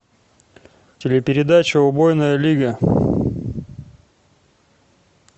телепередача убойная лига